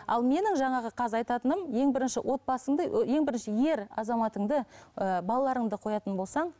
ал менің жаңағы қазір айтатыным ең бірінші отбасыңды ең бірінші ер азаматыңды ыыы балаларыңды қоятын болсаң